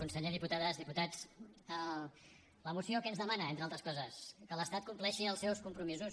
conseller diputades diputats la moció què ens demana entre altres coses que l’estat compleixi els seus compromisos